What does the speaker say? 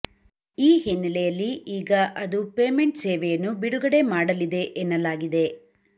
ಈ ಹಿನ್ನಲೆಯಲ್ಲಿ ಈಗ ಅದು ಪೇಮೆಂಟ್ ಸೇವೆಯನ್ನು ಬಿಡುಗಡೆ ಮಾಡಲಿದೆ ಎನ್ನಲಾಗಿದೆ